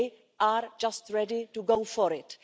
They are just ready to go for it.